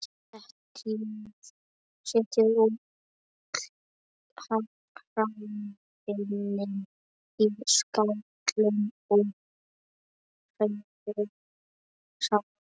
Setjið öll hráefnin í skál og hrærið saman.